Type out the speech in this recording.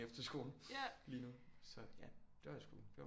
Efterskolen lige nu så ja det var sgu det var